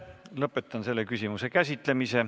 Lõpetan selle küsimuse käsitlemise.